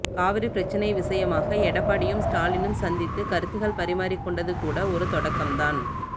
காவிரி பிரச்சினை விஷயமாக எடப்படியும் ஸ்டாலினும் சந்தித்துக் கருத்துக்கள் பரிமாறிக் கொண்டது கூட ஒரு தொடக்கம்தான்